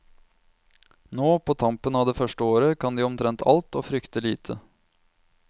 Nå, på tampen av det første året, kan de omtrent alt, og frykter lite.